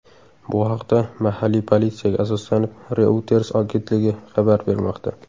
Bu haqda, mahalliy politsiyaga asoslanib, Reuters agentligi xabar bermoqda.